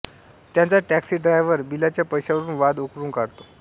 त्यांचा taxi driver बिलाच्या पैशावरून वाद उकरून काढतो